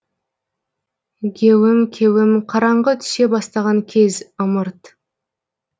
геуім кеуім қараңғы түсе бастаған кез ымырт